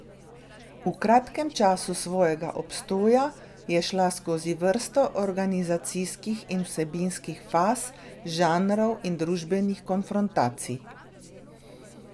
V kratkem času svojega obstoja je šla skozi vrsto organizacijskih in vsebinskih faz, žanrov in družbenih konfrontacij.